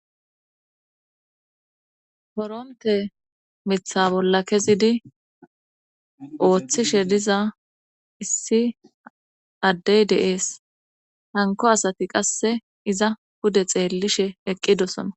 Koronte mitha bolla kezidi ooththishe diza issi addey de7ees hanko asati qasse iza pude xeellishe eqqidosona